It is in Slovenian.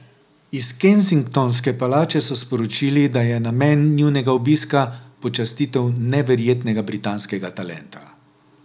Iz Kensingtonske palače so sporočili, da je namen njunega obiska počastitev neverjetnega britanskega talenta.